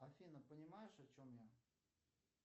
афина понимаешь о чем я